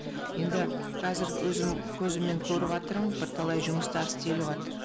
енді қазір өзім көзіммен көріватырмын бірталай жұмыстар істеліватр